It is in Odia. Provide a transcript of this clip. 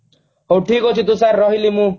ହଉ ଠିକ ଅଛି ତୁଷାର ରହିଲି ମୁଁ